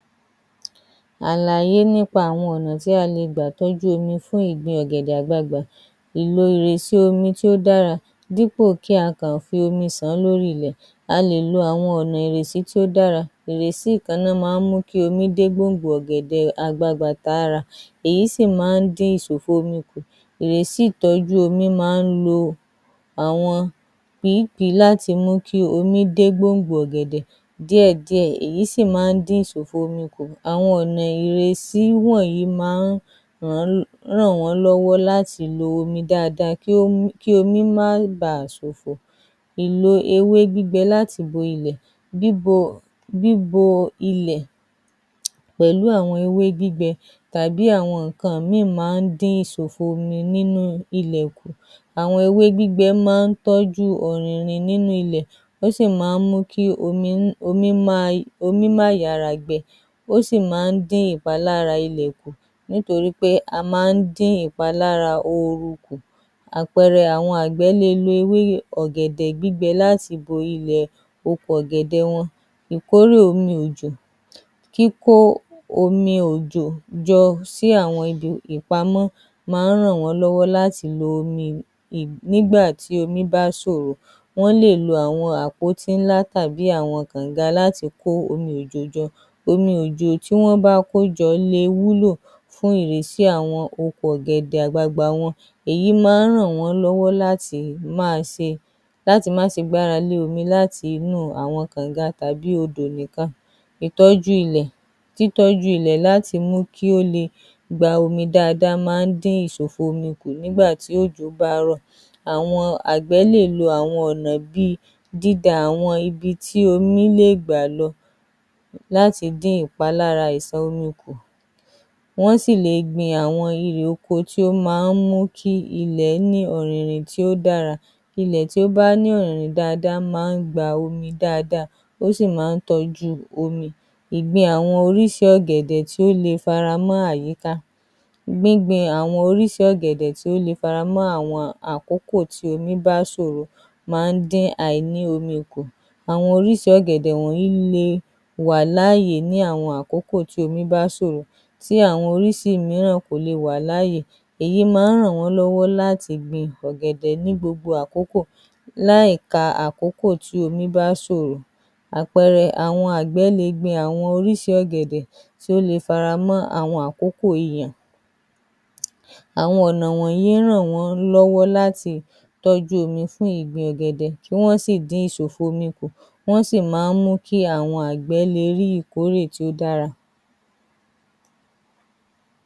Awọn Ọnà TÍ a le gbà tọ́jú omi fún ìgbin ọ̀gẹ̀dẹ̀ àgbagbà, ìlò omi tó dára dípò kí á kàn fi omi sàn án lórí ilẹ̀, a lè lo àwọn ọ̀nà ìrèsí tó dára, ìrèsí nìkan ni ó máa ń mú kí omi dé gbòǹgbò ọ̀gẹ̀dẹ̀ àgbagbà tá a rà, èyí sì máa ń dín ìsòfò omi kù, ìrèsí ìtọ́jú omi máa ń lo àwọn pìípìí láti mú kí omi dé gbòǹgbò ọ̀gẹ̀dẹ̀ díẹ̀ díẹ̀ èyí sì máa ń dín ìsòfò omi kù, àwọn ọ̀nà ìrèsí wọ̀nyí máa ń ràn wọ́n lọ́wọ́ láti lo omi Dáadáa kí omi má baà sòfò, ìlò ewé gbígbẹ láti bo ilẹ̀, bíbo ilẹ̀ pẹ̀lú àwọn ewé gbígbẹ tàbí àwọn nǹkan mìíràn máa ń dín ìsòfò omi kù láti ilẹ̀ kù, àwọn ewé gbígbẹ máa ń tọ́jú ọ̀riìnrìn nínú ilẹ̀ ó sì máa ń mú kí ìmí má yára gbẹ kù, ó sì máa ń dín ìpalára ilẹ̀ kù nítorí a máa ń dín ìpalára ooru kù, àpẹẹrẹ àwọn àgbẹ̀ le lo ewé ọ̀gẹ̀dẹ̀ láti bo ilẹ̀ oko ọ̀gẹ̀dẹ̀ wọn, ìkórè omi òjò, kíkó àwọn omi òjò jọ sí àwọn ibi ìpamọ́ máa ń ràn wọ́n lọ́wọ́ láti lọ omi nígbà tí omi bá ṣòro, wọ́n lè lò àwọn àpótíńlá tàbí àwọn kọ̀ǹga láti kó àwọn omi òjò jọ, omiòjò tí wọ́n bá kó jọ le wúlò fún ìrésí àwọn oko ọ̀gẹ̀dẹ̀ àgbagbà wọn, èyí máa ń ràn wọ́n lọ́wọ́ láti máa ṣe gbàra lé àwọn omi inú kànga láti inú àwọn kọ̀ǹga tàbí odò nìkan, ìtọ́jú ilẹ̀ tí tọ́jú ilẹ̀ láti mú kí omi dáadáa látidín ìsòfò omi kú nígbà tí òjò bá ń rọ̀, àwọn àgbẹ̀ lè lò àwọn ọ̀nà bíi día àwọn ọ̀nà ibi tí omi lè gbà lọ, láti dín ìpalára ìṣàn omi kù, wọ́n sì le gin àwọn irè oko tí ó máa ń mú kí ilẹ̀ ní ọ̀rìnrìn tí ó dára, ilẹ̀ tí ó bá ní ọ̀rìnrìn tí ó dára máa ń gba omi dáadáa ó sì máa ń tọ́jú omi, ìgbìn àwọn orísìí ọ̀gẹ̀dẹ̀ tó lè fara mọ́ àyíká, gbingbin àwọn orísìí ọ̀gẹ̀dẹ̀ tó lè fara mọ́ àwọn àkókò tí omi bá ṣòro máa ń dín àìnï omi kumù àwọn orísìí ọ̀gẹ̀dẹ̀ wọ̀nyí lè wà láàyè nígbà tí omi bá sòro tí àwọn orísìí mìíràn máa ń ṣòro èyí máa ń ràn wọ́n lọ́wọ́ láti gbin ọ̀gẹ̀dẹ̀ ní gbogbo àkókò láì ka àkókò tí omi bá ṣòro, àpẹẹrẹ àgbẹ̀ le gbin orísìí ọ̀gẹ̀dẹ̀ tí ó fara ọ́ àwọn àkókò ìyàn, àwọn ọ̀nà wọ̀nyí ń ràn wọ́n lọ́wọ́ láti tọ́jú omi fún ìgbin ọ̀gẹ̀dẹ̀ kí Wọ́n sì dín ìsòfò omi kù ó sì máa ń mú kí àwọn àgbẹ̀ le ní ìkórè tó dára. ‎